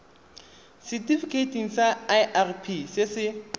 setifikeiting sa irp se se